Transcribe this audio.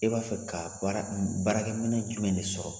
E b'a fɛ ka baara baarakɛ minɛ jumɛn de sɔrɔ?